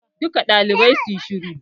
Duka ɗalibai suyi shiru!